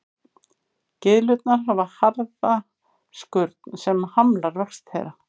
Gyðlurnar hafa harða skurn sem hamlar vexti þeirra.